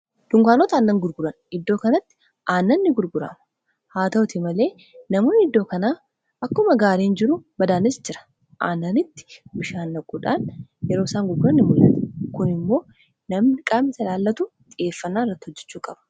Dunkaanota aannan gurguran. Iddoo kanatti aannanni gurguranna. haa ta'uti malee namoonni iddoo kanaa akkuma gaariin jiru badaanisi jira. Aannanitti bishaan naquudhaan yeroo isaan gurgurani ni muldhata. Kun immoo namni qaamni isa laallatu xiyyeeffannaan irratti hojjechuu qaba.